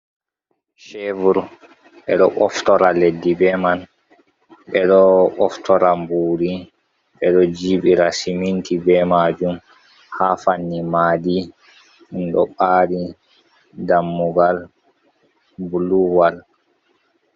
Shebur ɓe ɗo ɓoftora leɗɗi ɓe man, ɓeɗo ɓoftora mburi, ɓeɗo jibira siminti, ɓe majum ha fanni maadi ɗum ɗo baari dammugal bulu wal.